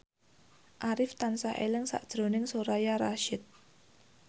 Arif tansah eling sakjroning Soraya Rasyid